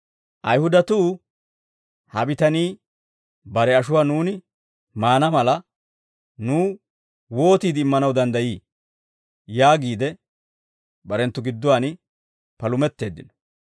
Ayihudatuu, «Ha bitanii bare ashuwaa nuuni maana mala, nuw wootiide immanaw danddayii?» yaagiide barenttu gidduwaan palumetteeddino.